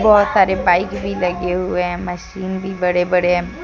बहोत सारे बाइक भी लगे हुए हैं मशीन भी बड़े बड़े हैं।